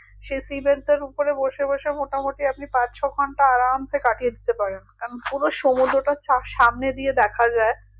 সে sea bed টার ওপরে বসে বসে মোটামুটি আপনি পাঁচ ছঘন্টা আরামসে কাটিয়ে দিতে পারেন কারণ পুরো সমুদ্রটা সা~সামনে দিয়ে দেখা যাই